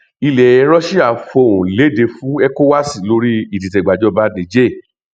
ilẹ russia fohùn lédè fún ecowas lórí ìdìtẹgbàjọba niger